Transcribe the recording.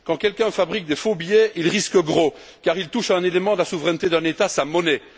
Quand quelqu'un fabrique des faux billets, il risque gros car il touche à un élément de la souveraineté d'un État, à sa monnaie.